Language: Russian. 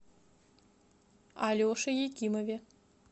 алеше якимове